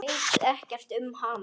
Veit ekkert um hana.